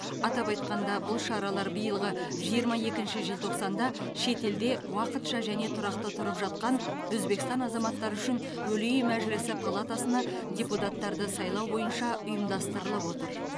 атап айтқанда бұл шаралар биылғы жиырма екінші желтоқсанда шетелде уақытша және тұрақты тұрып жатқан өзбекстан азаматтары үшін өлий мәжілісі палатасына депутаттарды сайлау бойынша ұйымдастырылып отыр